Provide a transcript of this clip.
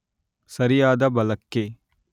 ಸರಿಯಾದ ಬಲ ಕ್ಕೆ